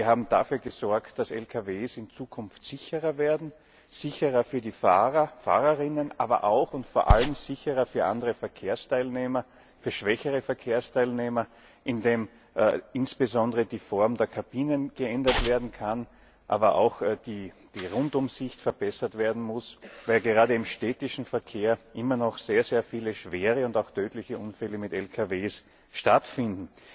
Wir haben dafür gesorgt, dass Lkws in Zukunft sicherer werden, sicherer für die Fahrerinnen und Fahrer, aber auch und vor allem sicherer für andere Verkehrsteilnehmer, für schwächere Verkehrsteilnehmer, indem insbesondere die Form der Kabinen geändert werden kann, aber auch die Rundumsicht verbessert werden muss, weil gerade im städtischen Verkehr immer noch sehr viele schwere und auch tödliche Unfälle mit Lkws stattfinden.